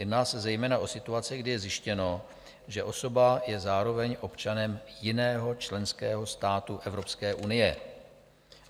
Jedná se zejména o situace, kdy je zjištěno, že osoba je zároveň občanem jiného členského státu Evropské unie."